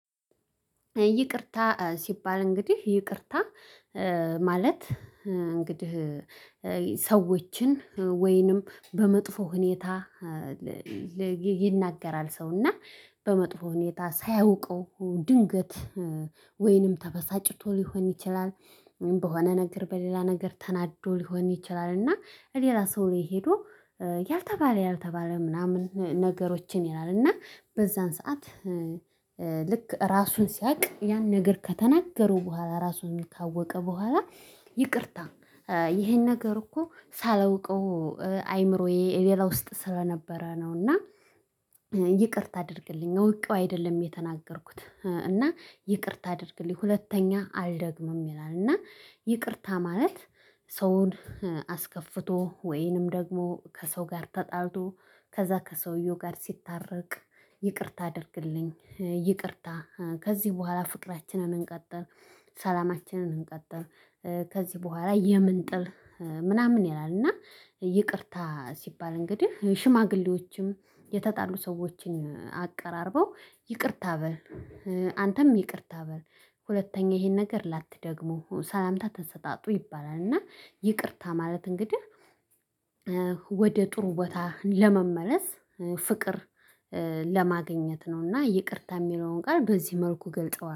ይቅርታ ሲባል እንግዲህ ይቅርታ ማለት እንግዲህ ሰዎችን ወይንም በመጥፎ ሁኔታ። ይናገራል ሰውና በመጥፎ ሁኔታ ሳያውቀው ድንገት ወይንም ተበሳጭቶ ሊሆን ይችላል። በሆነ ነገር በሌላ ነገር ተናዶ ሊሆን ይችላል። እና ሌላ ሰው ላይ ሄዶ ያልተባለ ያልተባለ ምናምን ነገሮችን ይላል እና በዛን ሰዓት። ልክ ራሱን ሲያውቅ ያን ነገር ከተናገሩ በኋላ ራሱን የሚታወቀ በኋላ ይቅርታ። ይሄን ነገር እኮ ሳላውቀው አይምሮዬ ሌላ ውስጥ ስለነበረ ነው። እና ይቅርታ አድርግልኝ እውቀው አይደለም የተናገርኩት። እና ይቅርታ አድርግልኝ ሁለተኛ አልደግምም ይላል። እና ይቅርታ ማለት። ሰውን አስከፍቶ ወይንም ደግሞ ከሰው ጋር ተጣልቶ ከዛ ከሰውየው ጋር ሲታረቅ። ይቅርታ አድርግልኝ ይቅርታ ከዚህ በኋላ ፍቅራችንን እንቀጥል ሰላማችንን እንቀጥል። ከዚህ በኋላ የምን ጥል ምናምን ይላል። እና ይቅርታ ሲባል እንግዲህ ሽማግሌዎችም የተጣሉ ሰዎችን አቀራርበው ይቅርታ በል አንተም ይቅርታ በል ሁለተኛ ይሄን ነገር ላትደግመው ሰላምታ ተሰጣጡ ይባላል። እና ይቅርታ ማለት እንግዲህ ወደ ጥሩ ቦታ ለመመለስ ፍቅር ለማግኘት ነው። እና ይቅርታ የሚለውን ጋር በዚህ መልኩ ገልጠዋል